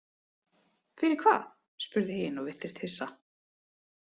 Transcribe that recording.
Fyrir hvað, spurði hin og virtist hissa.